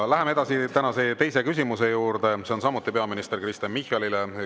Läheme edasi tänase teise küsimuse juurde, mis on samuti peaminister Kristen Michalile.